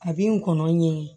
A bi n kɔnɔn ɲɛ